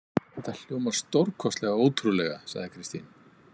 Þetta hljómar stórkostlega ótrúlega, sagði Kristín.